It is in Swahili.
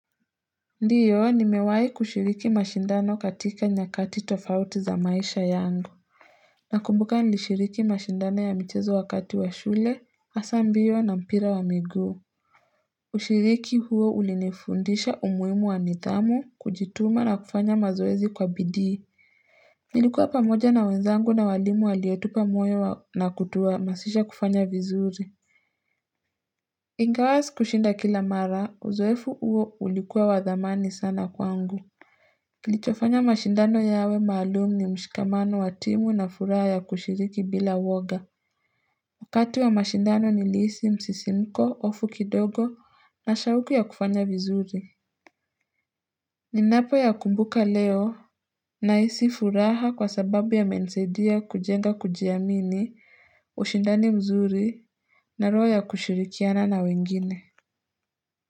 Ndiyo nimewahi kushiriki mashindano katika nyakati tofauti za maisha yangu Nakumbuka nilishiriki mashindano ya michezo wakati wa shule, hasa mbio na mpira wa miguu Ushiriki huo ulinifundisha umuhimu wa nidhamu, kujituma na kufanya mazoezi kwa bidii Nilikuwa pamoja na wenzangu na walimu waliotupa moyo na kutuahamazisha kufanya vizuri Ingawa sikushinda kila mara, uzoefu huo ulikuwa wa dhamani sana kwangu Kilichofanya mashindano yawe maalumu ni mshikamano wa timu na furaha ya kushiriki bila woga Wakati wa mashindano nilihisi msisimko hofu kidogo na shauku ya kufanya vizuri Ninapo yakumbuka leo nahisi furaha kwa sababu yamenisaidia kujenga kujiamini ushindani mzuri na roho ya kushirikiana na wengine.